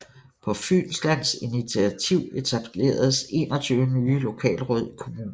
På Fynslands initativ etableredes 21 nye lokalråd i kommunen